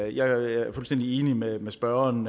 jeg er fuldstændig enig med med spørgeren